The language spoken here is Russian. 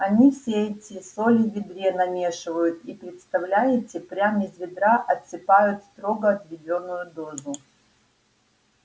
он все эти соли в ведре намешивают и представляете прям из ведра отсыпают строго отведённую дозу